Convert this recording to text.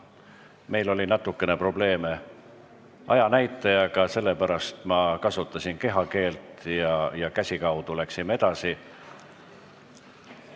Meil oli natukene probleeme ajanäitajaga, sellepärast ma kasutasin kehakeelt ja me läksime käsikaudu edasi.